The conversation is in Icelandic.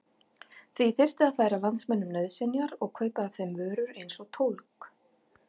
Því þyrfti að færa landsmönnum nauðsynjar og kaupa af þeim vörur eins og tólg.